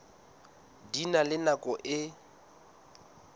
di na le nako e